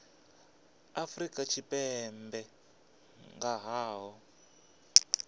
afrika tshipembe nga ha u